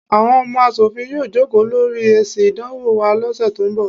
Àwọn ọmọ aṣòfin yóò jókòó lórí èsì ìdánwò wa lọ́ sẹ̀ tó ń bọ̀.